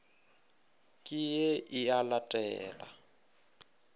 ke ye e a latela